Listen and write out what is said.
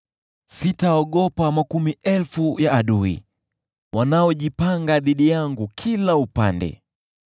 Sitaogopa makumi elfu ya adui, wanaojipanga dhidi yangu kila upande.